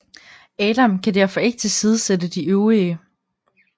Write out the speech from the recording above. Adam kan derfor ikke tilsidesætte de øvrige